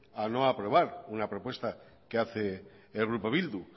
a no aprobar una propuesta que hace el grupo bildu